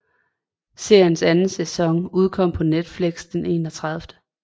Seriens anden sæson udkom på Netflix den 31